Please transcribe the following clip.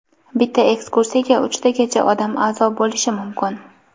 Bitta ekskursiyaga uchtagacha odam a’zo bo‘lishi mumkin.